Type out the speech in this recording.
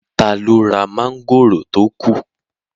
Taló ra mọ́ngòrò tó kù?